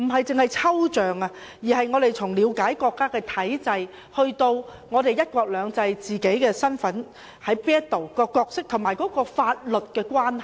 這不單是抽象的關係，而是從了解國家的體制以至"一國兩制"、自己的身份、角色及法律的關係。